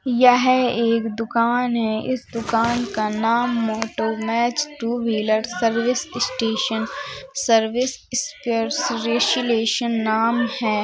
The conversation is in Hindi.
यह एक दुकान है इस दुकान का नाम Motomech two wheeler service station service specialisation नाम है।